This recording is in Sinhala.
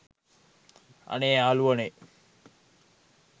අනේ යාලුවනේ